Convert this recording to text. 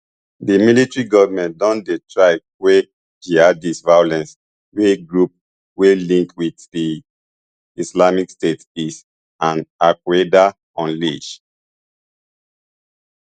di military govment don dey try quell jihadist violence wey groups wey link wit di islamic state is and alqaeda unleash